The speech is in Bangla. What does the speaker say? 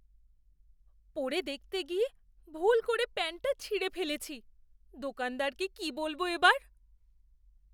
পরে দেখতে গিয়ে ভুল করে প্যান্টটা ছিঁড়ে ফেলেছি। দোকানদারকে কি বলবো এবার?